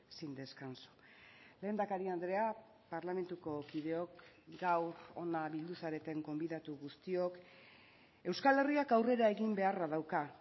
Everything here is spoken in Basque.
sin descanso lehendakari andrea parlamentuko kideok gaur hona bildu zareten gonbidatu guztiok euskal herriak aurrera egin beharra dauka